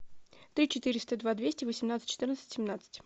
три четыреста два двести восемнадцать четырнадцать семнадцать